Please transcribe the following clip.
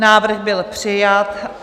Návrh byl přijat.